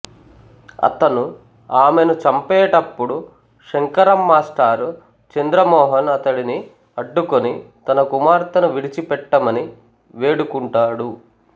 అతను ఆమెను చంపేటప్పుడు శంకరం మాస్టర్ చంద్ర మోహన్ అతడిని అడ్డుకుని తన కుమార్తెను విడిచిపెట్టమని వేడుకుంటాడు